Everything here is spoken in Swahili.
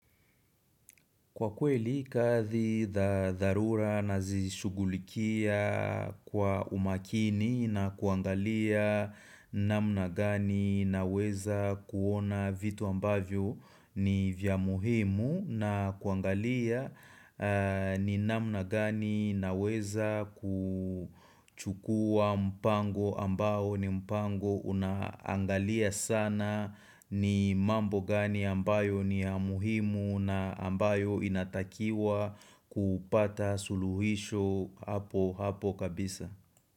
Kwa kweli, kathi dharura nazishugulikia kwa umakini na kuangalia namna gani naweza kuona vitu ambavyo ni vya muhimu na kuangalia ni namna gani naweza kuchukua mpango ambayo ni mpango unaangalia sana ni mambo gani ambayo ni ya muhimu na ambayo inatakiwa kupata suluhisho hapo hapo kabisa.